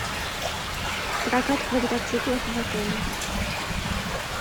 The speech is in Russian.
прокат квадроциклов в отеле